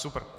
Super.